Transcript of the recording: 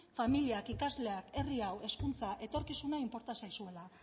familiak ikasleak herri hau hezkuntza etorkizuna inporta zaizuela